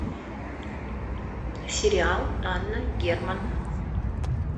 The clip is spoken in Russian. сериал анна герман